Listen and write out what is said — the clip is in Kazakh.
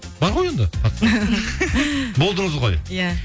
бар ғой енді қатысыңыз болдыңыз ғой иә